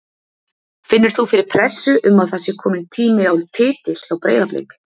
Finnur þú fyrir pressu um að það sé komin tími á titil hjá Breiðablik?